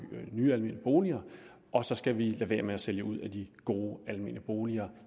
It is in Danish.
nye almene boliger og så skal vi lade være med at sælge ud af de gode almene boliger